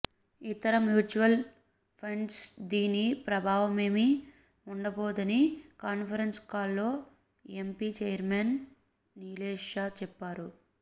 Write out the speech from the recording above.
ఇతర మ్యూచువల్ ఫండ్స్పై దీని ప్రభావమేమీ ఉండబోదని కాన్ఫరెన్స్ కాల్లో యాంఫి చైర్మన్ నీలేశ్ షా చెప్పారు